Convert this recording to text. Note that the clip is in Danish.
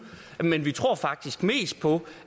men vi tror faktisk mest på